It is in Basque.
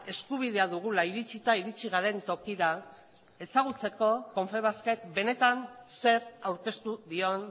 eskubidea dugula iritzita iritzi garen tokira ezagutzeko konfebaskek benetan zer aurkeztu dion